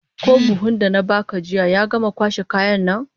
Ko buhun da na baka jiya ya gama kwashe kayan nan?